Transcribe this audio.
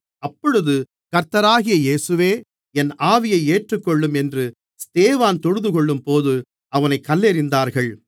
அப்பொழுது கர்த்தராகிய இயேசுவே என் ஆவியை ஏற்றுக்கொள்ளும் என்று ஸ்தேவான் தொழுதுகொள்ளும்போது அவனைக் கல்லெறிந்தார்கள்